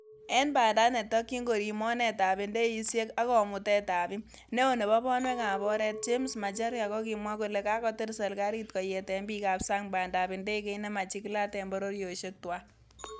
En banda netokyin koriib mornetab indeisiek ak komutetab biik, neo nebo bonwekab oret James Macharia kokimwa kole kakotil serkalit koyeten bikab sang bandab indegeit nemachigilat en bororiosek tuan.